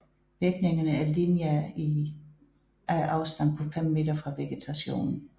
Virkningerne er tydelige i lineær afstand på 5 m fra vegetationen